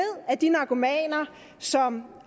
at de narkomaner som